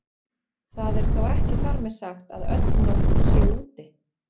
Það er þó ekki þar með sagt að öll nótt sé úti.